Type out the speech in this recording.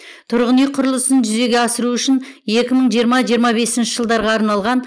тұрғын үй құрылысын жүзеге асыру үшін екі мың жиырма екі мың жиырма бесінші жылдарға арналған